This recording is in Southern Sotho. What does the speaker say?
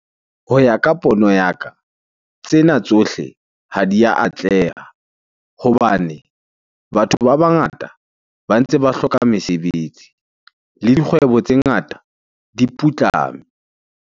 Ho ya ka pono ya ka, tsena tsohle ha di a atleha hobane batho ba bangata ba ntse ba hloka mesebetsi le dikgwebo tse ngata di putlame.